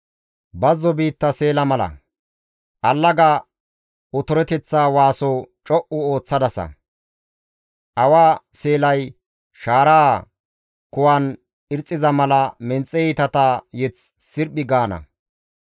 Bazzo biitta seela mala. Allaga otoreteththa waaso co7u ooththaasa. Awa seelay shaaraa kuwan irxxiza mala menxe iitata mazamure sirphi gaana.